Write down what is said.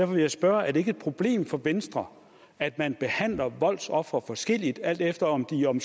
vil jeg spørge er det ikke et problem for venstre at man behandler voldsofre forskelligt alt efter om de om